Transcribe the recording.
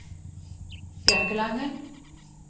Bjørkelangen